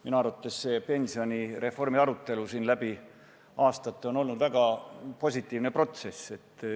Minu arvates on see pensionireformi arutelu olnud siin läbi aastate väga positiivne protsess.